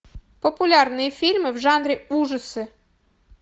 популярные фильмы в жанре ужасы